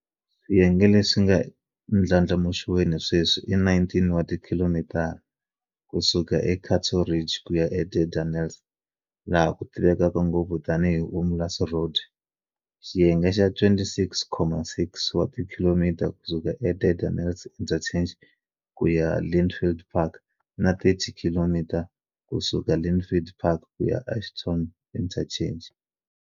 Swiyenge leswi nga eku ndlandlamuxiweni sweswi i 19 wa tikhilomitara, km, ku suka eCato Ridge ku ya eDardanelles, laha ku tivekaka ngopfu tanihi Umlaas Road, xiyenge xa 26.6 km ku suka Dardanelles Interchange ku ya Lynnfield Park, na 30 km ku suka Lynnfield Park ku ya Ashburton Interchange.